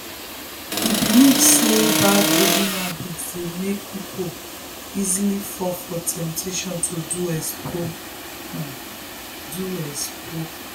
she report one case of person wey write exam for another person during the school external exam.